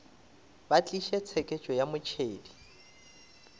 ba tliše tsheketšo ya motšhedi